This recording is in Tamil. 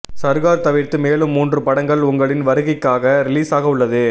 சர்கார் தவிர்த்து மேலும் மூன்று படங்கள் உங்களின் வருகைக்காக ரிலீசாக உள்ளது